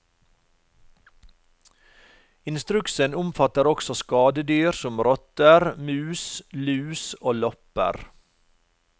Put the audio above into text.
Instruksen omfatter også skadedyr som rotter, mus, lus og lopper.